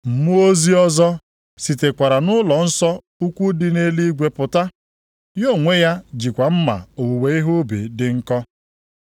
Mmụọ ozi ọzọ sitekwara nʼụlọnsọ ukwu dị nʼeluigwe pụta. Ya onwe ya jikwa mma owuwe ihe ubi dị nkọ.